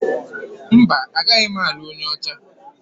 Mba, agaghị m alụ onye ọcha.